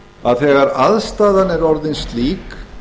að þegar aðstaðan er orðin slík